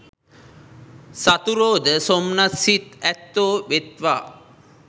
සතුරෝ ද සොම්නස් සිත් ඇත්තෝ වෙත්වා.